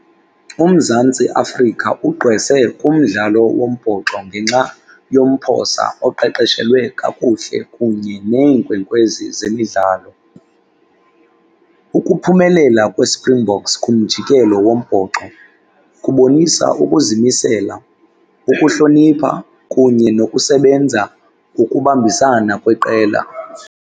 UMzantsi Afrika ugqwese kumdlalo wombhoxo ngenxa yomphosa oqeqeshelwe kakuhle kunye neenkwenkwezi zemidlalo. Ukuphumelela kweSprinkboks kumjikelo wombhoxo kubonisa ukuzimisela, ukuhlonipha, kunye nokusebenza ukubambisana kweqela.